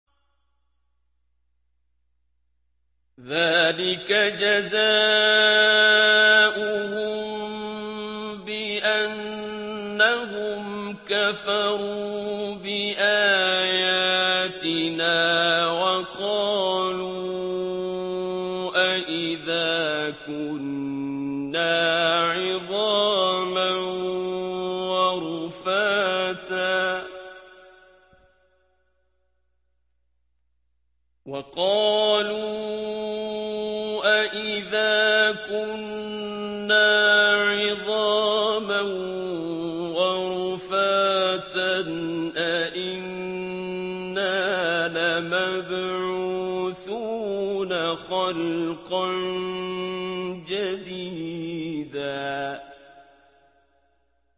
ذَٰلِكَ جَزَاؤُهُم بِأَنَّهُمْ كَفَرُوا بِآيَاتِنَا وَقَالُوا أَإِذَا كُنَّا عِظَامًا وَرُفَاتًا أَإِنَّا لَمَبْعُوثُونَ خَلْقًا جَدِيدًا